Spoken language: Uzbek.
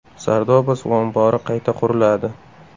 Sardoba suv ombori qayta quriladi.